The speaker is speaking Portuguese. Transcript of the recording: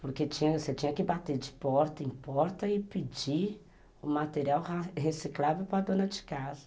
Porque você tinha que bater de porta em porta e pedir o material reciclável para a dona de casa.